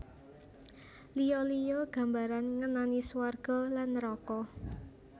Liya liya gambaran ngenani swarga lan neraka